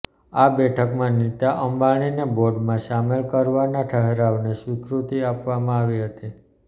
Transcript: આ બેઠકમાં નીતા અંબાણીને બોર્ડમાં સામેલ કરવાના ઠરાવને સ્વીકૃતિ આપવામાં આવી હતી